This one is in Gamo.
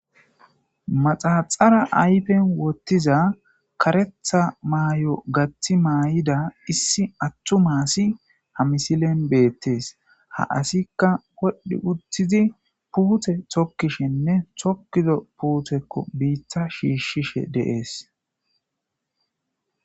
Maxaxara ayfen wottiza karetha maay'o gaththi maay'ida issi attu maasi ha misilen beettes ha asikka wodhdhi uttizi puute tokkishinne tokkido puuthekko biitta shiishshishe deees.